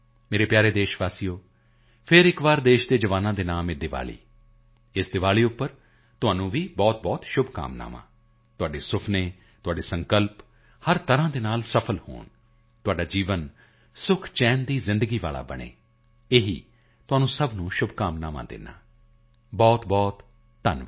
ਮੇਰੇ ਪਿਆਰੇ ਦੇਸ਼ ਵਾਸੀਓ ਫਿਰ ਇੱਕ ਵਾਰ ਦੇਸ਼ ਦੇ ਜਵਾਨਾਂ ਦੇ ਨਾਮ ਇਹ ਦੀਵਾਲੀ ਇਸ ਦੀਵਾਲੀ ਤੇ ਤੁਹਾਨੂੰ ਵੀ ਬਹੁਤਬਹੁਤ ਸ਼ੁਭਕਾਮਨਾਵਾਂ ਤੁਹਾਡੇ ਸੁਪਨੇ ਤੁਹਾਡੇ ਸੰਕਲਪ ਹਰ ਪ੍ਰਕਾਰ ਤੋਂ ਸਫਲ ਹੋਣ ਤੁਹਾਡਾ ਜੀਵਨ ਸੁਖਚੈਨ ਦੀ ਜ਼ਿੰਦਗੀ ਵਾਲਾ ਬਣੇ ਇਹੀ ਆਪ ਸਭ ਨੂੰ ਸ਼ੁਭਕਾਮਨਾਵਾਂ ਦਿੰਦਾ ਹਾਂ ਬਹੁਤਬਹੁਤ ਧੰਨਵਾਦ